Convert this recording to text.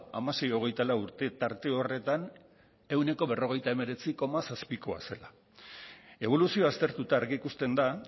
hamasei hogeita lau urte tarte horretan ehuneko berrogeita hemeretzi koma zazpikoa zela eboluzioa aztertuta argi ikusten da